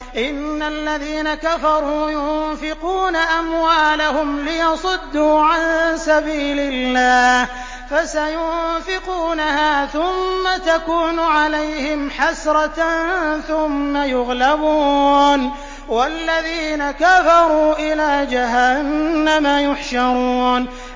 إِنَّ الَّذِينَ كَفَرُوا يُنفِقُونَ أَمْوَالَهُمْ لِيَصُدُّوا عَن سَبِيلِ اللَّهِ ۚ فَسَيُنفِقُونَهَا ثُمَّ تَكُونُ عَلَيْهِمْ حَسْرَةً ثُمَّ يُغْلَبُونَ ۗ وَالَّذِينَ كَفَرُوا إِلَىٰ جَهَنَّمَ يُحْشَرُونَ